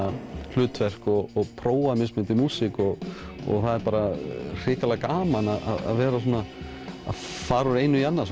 hlutverk og prófa mismunandi músík það er hrikalega gaman að fara úr einu í annað